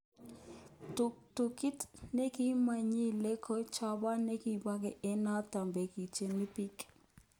ptuktukit nekimokyike ko chobon nikibokeny ko noton nekikochin biik